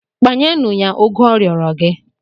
Kpanyenụ ya ụgụ ọ rịọrọ gị!